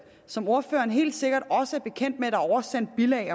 som ordføreren helt sikkert også er bekendt med er oversendt bilag i